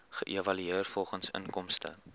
geëvalueer volgens inkomste